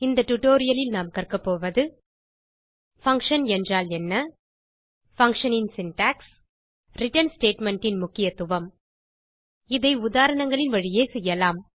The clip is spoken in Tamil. இந்த tutorial லில் நாம் கற்க போவது பங்ஷன் என்றால் என்ன பங்ஷன் ன் சின்டாக்ஸ் ரிட்டர்ன் ஸ்டேட்மெண்ட் ன் முக்கியத்துவம் இதை உதாரணங்களின் வழியே செய்யலாம்